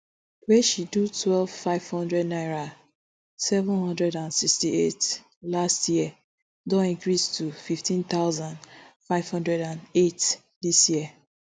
wey she do twelve five hundred naira seven hundred and sixty-eight last year don increase to fifteen thousand, five hundred eight dis year